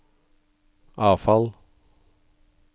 avfall